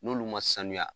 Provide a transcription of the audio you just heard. N'olu ma sanuya